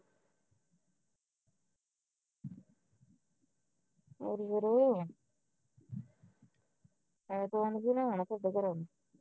ਹੋਰ ਫਿਰ ਐਤਵਾਰ ਨੂੰ ਕਿਹਨੇ ਆਉਣਾ ਤਾਂ ਤੁਹਾਡੇ ਘਰੇ